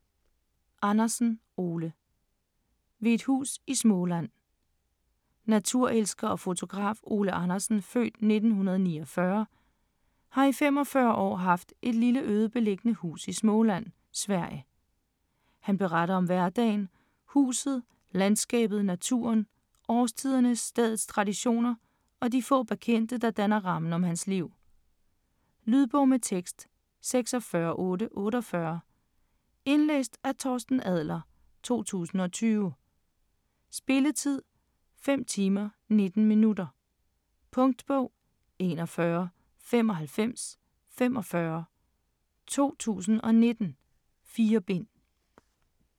Andersen, Ole: Ved et hus i Småland Naturelsker og fotograf Ole Andersen (f. 1949) har i 45 år haft et lille øde beliggende hus i Småland, Sverige. Han beretter om hverdagen, huset, landskabet, naturen, årstiderne, stedets traditioner og de få bekendte, der danner rammen om hans liv. Lydbog med tekst 46848 Indlæst af Torsten Adler, 2020. Spilletid: 5 timer, 19 minutter. Punktbog 419545 2019. 4 bind.